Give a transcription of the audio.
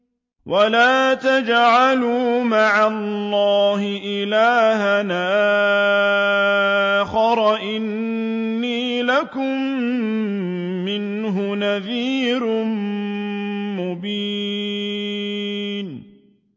وَلَا تَجْعَلُوا مَعَ اللَّهِ إِلَٰهًا آخَرَ ۖ إِنِّي لَكُم مِّنْهُ نَذِيرٌ مُّبِينٌ